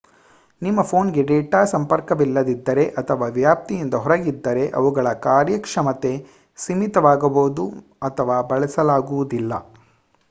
ನಿಮ್ಮ ಫೋನ್‌ಗೆ ಡೇಟಾ ಸಂಪರ್ಕವಿಲ್ಲದಿದ್ದರೆ ಅಥವಾ ವ್ಯಾಪ್ತಿಯಿಂದ ಹೊರಗಿದ್ದರೆ ಅವುಗಳ ಕಾರ್ಯಕ್ಷಮತೆ ಸೀಮಿತವಾಗಬಹುದು ಅಥವಾ ಬಳಸಲಾಗುವುದಿಲ್ಲ